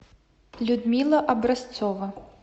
людмила образцова